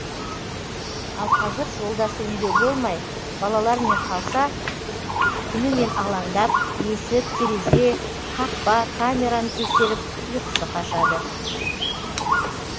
ал қазір жолдасы үйде болмай балалармен қалса түнімен алаңдап есік терезе қақпа камераны тексеріп ұйқысы қашады